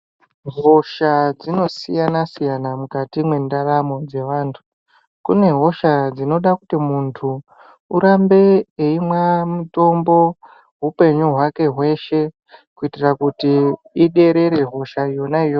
Hosha dzinosiyana siyana mukati mendaramo dzevantu kune hosha dzinoda kuti muntu urambe eimwa mutombo hupenyu hwake hweshe kuitira kuti iderere hosha yona iyoyo.